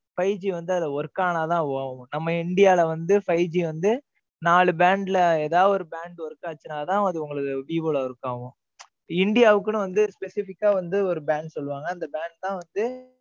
five G வந்து அதுல work ஆனா தான் ஆகும். நம்ம இந்தியல வந்து five G வந்து, நாலு brand ல ஏதாவது ஒரு brand work ஆச்சுனாதான், அது உங்களுக்கு விவோல work ஆகும். இந்தியாவுக்குன்னு வந்து specific ஆ வந்து ஒரு bank சொல்லுவாங்க. அந்த bank தான் வந்து,